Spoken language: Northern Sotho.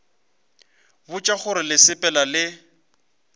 botša gore le sepela le